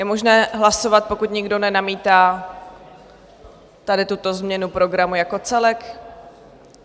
Je možné hlasovat, pokud nikdo nenamítá, tady tuto změnu programu jako celek.